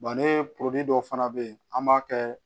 ne dɔ fana bɛ yen an b'a kɛ